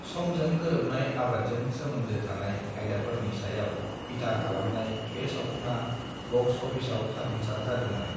समजों गोरोबनाय आबादजों सोमोन्दो थानाय आयदाफोरनि सायाव बिथा खालामनाय बे सावथुना बक्स अफिसाव जाफुंसार जादोंमोन।